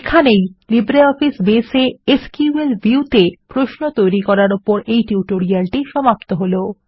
এই LibreOffice Base এ SQL ভিউতে প্রশ্নের ওপর এই টিউটোরিয়ালটি সমাপ্ত হল